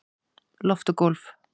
Loft og gólf